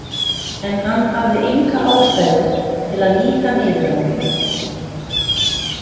En hann hafði enga ástæðu til að líta niður á mig.